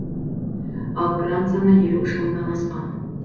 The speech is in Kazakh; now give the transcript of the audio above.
ал грант саны елу үш мыңнан асқан